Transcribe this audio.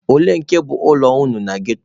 Olee nke bụ ụlọ unu na ghetto a?